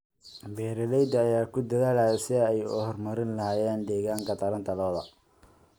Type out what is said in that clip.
Beeralayda ayaa ku dadaalaya sidii ay u horumarin lahaayeen deegaanka taranta lo'da.